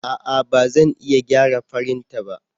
A'a! Ba zan iya gyara firinta ba.